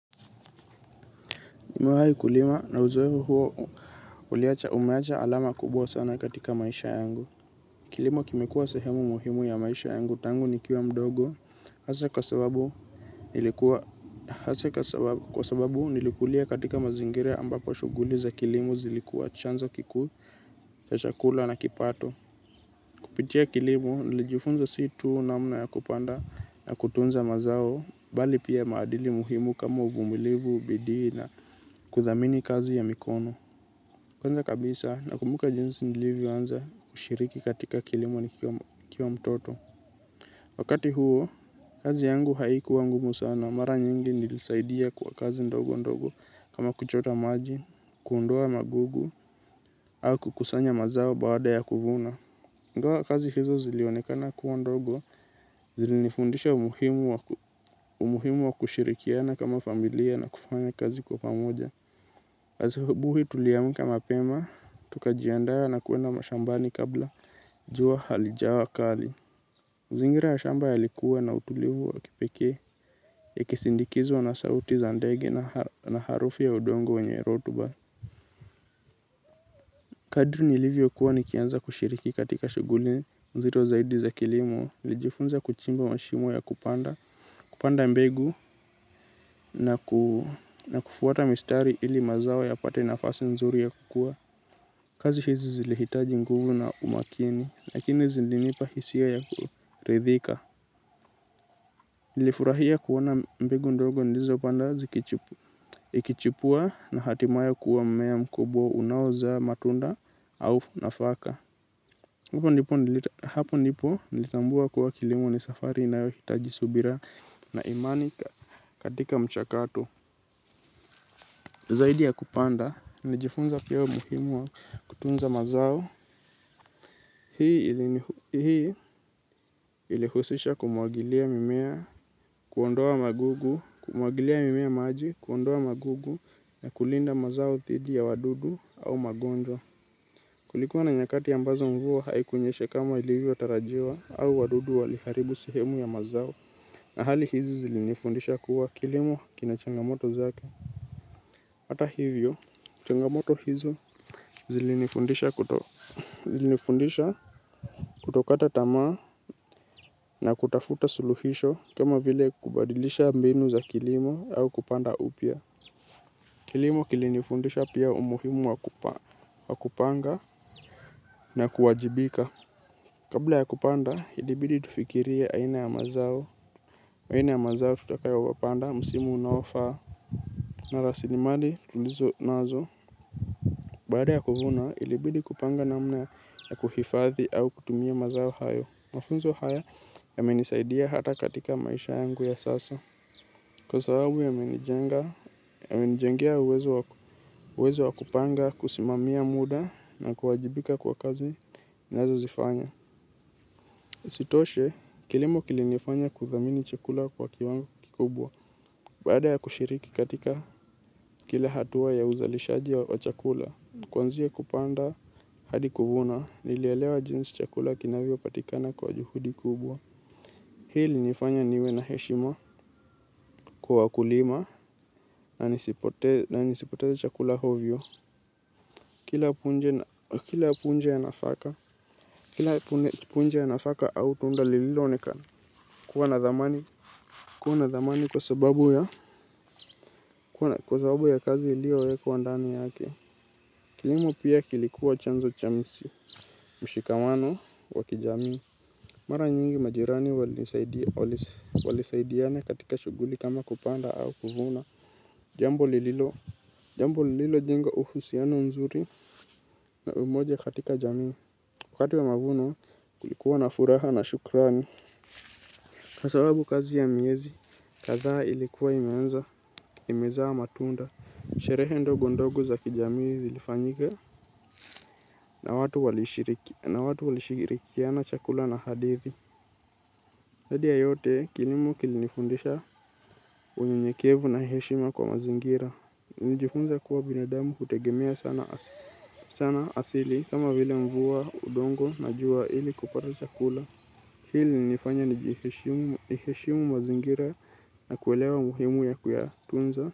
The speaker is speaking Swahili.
Nimewahi kulima na uzoefu huo uliacha umeacha alama kubwa sana katika maisha yangu. Kilimo kimekuwa sehemu muhimu ya maisha yangu tangu nikiwa mdogo. Haswa sababu nilikulia katika mazingira ambapo shughuli za kilimo zilikuwa chanzo kikuu cha chakula na kipato. Kupitia kilimo nilijifunza si tuu namna ya kupanda na kutunza mazao. Bali pia maadili muhimu kama uvumilivu, bidii na kuthamini kazi ya mikono. Kwanza kabisa nakumbuka jinsi nilivyoanza kushiriki katika kilimo nikiwa mtoto. Wakati huo, kazi yangu haikuwa ngumu sana. Mara nyingi nilisaidia kwa kazi ndogo ndogo kama kuchota maji, kuondoa magugu au kukusanya mazao baada ya kuvuna. Ingawa kazi hizo zilionekana kuwa ndogo, zilinifundisha umuhimu wa kushirikiana kama familia na kufanya kazi kwa pamoja. Asubuhi tuliamka mapema, tukajiandaa na kuenda mashambani kabla jua halijawa kali mazingira ya shamba yalikuwa na utulivu wa kipekee yakisindikizwa na sauti za ndege na harufi ya udongo wenye rotuba. Kadri nilivyokuwa nikianza kushiriki katika shughuli nzito zaidi za kilimo, nilijifunza kuchimba mshimo ya kupanda. Kupanda mbegu na kufuata mistari ili mazao yapate nafasi nzuri ya kukua. Kazi hizi zilihitaji nguvu na umakini, lakini zingenipa hisia ya kuridhika. Nilifurahia kuona mbegu ndogo nilizopanda zikichipua na hatimaye kuwa mmea mkubwa unaozaa matunda au nafaka. Hapo ndipo nilitambua kuwa kilimo ni safari inayohitaji subira na imani katika mchakatu. Zaidi ya kupanda, nilijifunza pia muhimu wa kutunza mazao, hii ilihusisha kumwagilia mimea, kuondoa magugu, kumwagilia mimea maji, kuondoa magugu na kulinda mazao dhidi ya wadudu au magonjwa. Kulikuwa na nyakati ambazo mvua haikunyesha kama ilivyotarajiwa hao wadudu waliharibu sehemu ya mazao. Na hali hizi zilinifundisha kuwa kilimo kina changamoto zake. Hata hivyo, changamoto hizi zilinifundisha kutokata tama na kutafuta suluhisho kama vile kubadilisha mbinu za kilimo au kupanda upya. Kilimo kilinifundisha pia umuhimu wa kupanga na kuwajibika. Kabla ya kupanda, ilibidi tufikiria aina ya mazao, aina ya mazao tutakao wapanda, msimu unaofaa, na rasilimali tulizo nazo. Baada ya kuvuna, ilibidi kupanga namna ya kuhifadhi au kutumia mazao hayo. Mafunzo haya yamenisaidia hata katika maisha yangu ya sasa. Kwa sababu yamenijengea uwezo wa kupanga kusimamia muda na kuwajibika kwa kazi nazozifanya. Isitoshe, kilimo kilinifanya kuthamini chakula kwa kiwango kikubwa. Baada ya kushiriki katika kila hatua ya uzalishaji wa chakula kuanzia kupanda hadi kuvuna, nilielewa jinsi chakula kinavyopatikana kwa juhudi kubwa. Hii ilinifanya niwe na heshima kwa wakulima na nisipoteze chakula ovyo kila. Kila punje ya nafaka au tunda lililonekana kuwa na thamani. Kuwa na thamani kwa sababu ya kwa sababu ya kazi iliyowekwa ndani yake. Kilimo pia kilikuwa chanzo cha mshikamano wa kijamii. Mara nyingi majirani walisaidiana katika shughuli kama kupanda au kuvuna. Jambo lililojengo uhusiano mzuri na umoja katika jamii. Wakati wa mavuno kulikuwa na furaha na shukrani. Kwa sababu kazi ya miezi, kadha ilikuwa imeanza, imezaa matunda. Sherehe ndogo ndogo za kijamii zilifanyika na watu walishirikiana chakula na hadithi. Zaidi ya yote kilimo kilifundisha unyenyekevu na heshima kwa mazingira. Nijifunza kuwa binadamu hutegemea sana asili kama vile mvua, udongo na jua ili kupata chakula. Hili ilinifanya niheshimu mazingira. Nakuelewa muhimu ya kuyatunza.